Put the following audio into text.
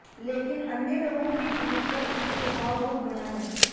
लेकिन अन्य लोगों के जीवन पर उनके प्रभाव बहुत बड़ा है